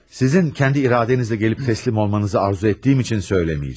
Sizin kəndi iradənizlə gəlib teslim olmanızı arzu etdiyim üçün söyləməyəcəm.